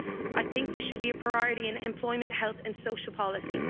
I think this should be a priority in employment, health and social policy.